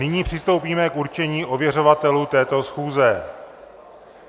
Nyní přistoupíme k určení ověřovatelů této schůze.